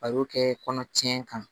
A y'o kɛ kɔnɔ tiɲɛ kan